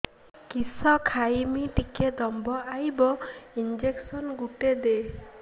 କିସ ଖାଇମି ଟିକେ ଦମ୍ଭ ଆଇବ ଇଞ୍ଜେକସନ ଗୁଟେ ଦେ